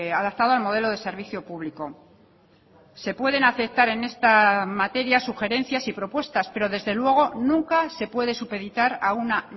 adaptado al modelo de servicio público se pueden aceptar en esta materia sugerencias y propuestas pero desde luego nunca se puede supeditar a una